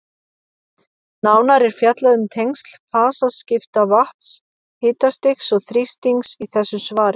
Nánar er fjallað um tengsl fasaskipta vatns, hitastigs og þrýstings í þessu svari.